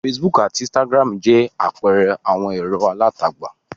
Facebook àti Instagram jẹ́ àpẹẹrẹ àwọn ẹ̀rọ alátagbà.